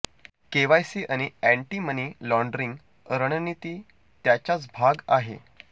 KYC आणि anti money laundering रणनीती त्याचाच भाग आहे